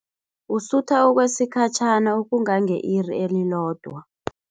Usutha okwesikhatjhana, ukungange-iri elilodwa.